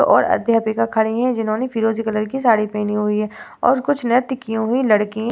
और अध्यापिका खड़ी हैं। जिन्होंने फिरोजी कलर की साड़ी पहनी हुई है और कुछ नृत्य की हुई लड़की --